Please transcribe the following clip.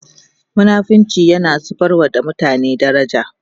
munafinci tana zubarwa da mutum daraja